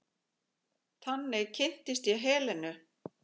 Þannig kynntist ég Helenu.